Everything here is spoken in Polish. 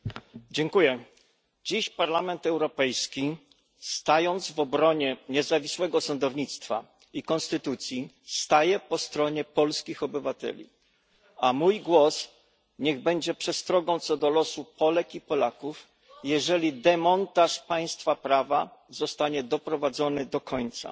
Panie Przewodniczący! Dziś Parlament Europejski, stając w obronie niezawisłego sądownictwa i konstytucji, staje po stronie polskich obywateli, a mój głos niech będzie przestrogą co do losu Polek i Polaków, jeżeli demontaż państwa prawa zostanie doprowadzony do końca.